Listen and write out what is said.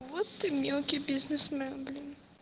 вот ты мелкий бизнесмен блин